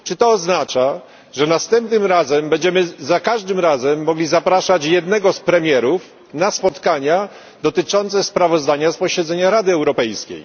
oznacza, że następnym razem będziemy za każdym razem mogli zapraszać jednego z premierów na spotkania dotyczące sprawozdania z posiedzenia Rady Europejskiej.